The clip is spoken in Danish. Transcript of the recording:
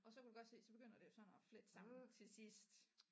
Og så kan du godt se så begynder det jo sådan at flette sammen til sidst